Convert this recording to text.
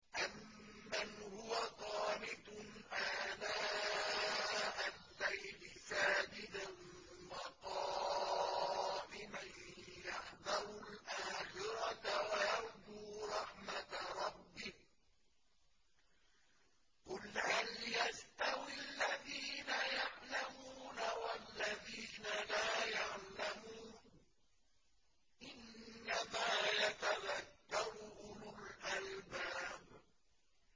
أَمَّنْ هُوَ قَانِتٌ آنَاءَ اللَّيْلِ سَاجِدًا وَقَائِمًا يَحْذَرُ الْآخِرَةَ وَيَرْجُو رَحْمَةَ رَبِّهِ ۗ قُلْ هَلْ يَسْتَوِي الَّذِينَ يَعْلَمُونَ وَالَّذِينَ لَا يَعْلَمُونَ ۗ إِنَّمَا يَتَذَكَّرُ أُولُو الْأَلْبَابِ